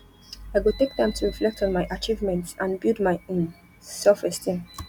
i go take time to reflect on my achievements and build my um selfesteem